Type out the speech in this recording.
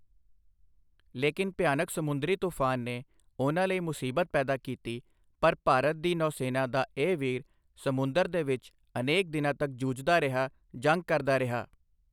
ਲੇਕਿਨ ਭਿਆਨਕ ਸਮੁੰਦਰੀ ਤੂਫ਼ਾਨ ਨੇ ਉਨ੍ਹਾਂ ਲਈ ਮੁਸੀਬਤ ਪੈਦਾ ਕੀਤੀ ਪਰ ਭਾਰਤ ਦੀ ਨੌਸੈਨਾ ਦਾ ਇਹ ਵੀਰ ਸਮੁੰਦਰ ਦੇ ਵਿੱਚ ਅਨੇਕ ਦਿਨਾਂ ਤੱਕ ਜੂਝਦਾ ਰਿਹਾ, ਜੰਗ ਕਰਦਾ ਰਿਹਾ।